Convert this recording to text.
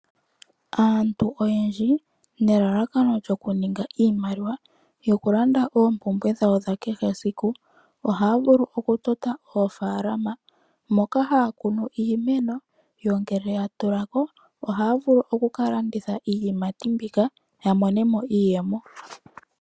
Aantu oyendji ne lalakano djoku ninga iimaliwa yoku landa oompumbwe dhawo dha kehe esiku, ohaya vulu oku tota oofaalama moka haya kunu iimeno, yo ngele ya tulako ohaya vulu oku ka landitha iiyimati mbika ya monemo iiyemo.